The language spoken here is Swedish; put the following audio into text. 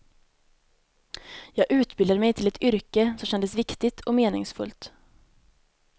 Jag utbildade mig till ett yrke som kändes viktigt och meningsfullt.